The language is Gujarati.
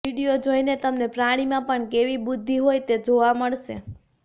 વીડિયો જોઇને તમને પ્રાણીમાં પણ કેવી બુદ્ધિ હોય તે જોવા મળશે